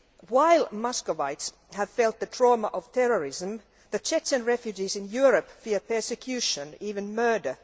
While Muscovites have felt the trauma of terrorism, Chechen refugees in Europe fear persecution, even murder.